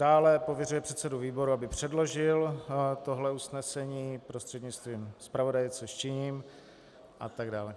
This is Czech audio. Dále, pověřuje předsedu výboru, aby předložil tohle usnesení prostřednictvím zpravodaje, což činím, atd.